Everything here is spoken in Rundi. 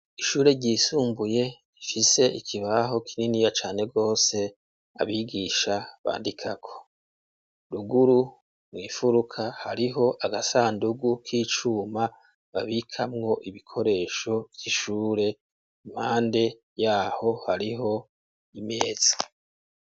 Ishure ryisumbuye rifise ikibaho kininiya cane gose, abigisha bandikako. Ruguru mw'ifuruka hariho agasandugu k'icuma babikamwo ibikoresho vy'ishure, impande y'aho hariho imeza.